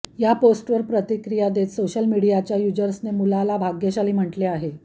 या पोस्टवर प्रतिक्रिया देत सोशल मीडियाच्या यूजर्सने मुलाला भाग्यशाली म्हणले आहे